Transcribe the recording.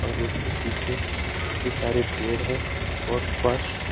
और उसके पीछे काफी सारे पेड़ हैं और फर्श--